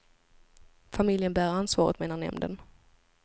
Familjen bär ansvaret, menar nämnden.